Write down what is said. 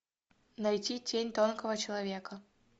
найти тень тонкого человека